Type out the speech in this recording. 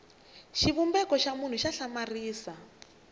xivumbeko xa munhu xa hlamarisa